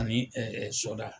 Ani sɔda.